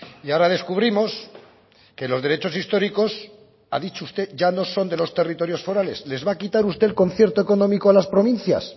y ahora descubrimos que los derechos históricos ha dicho usted ya no son de los territorios forales les va a quitar usted el concierto económico a las provincias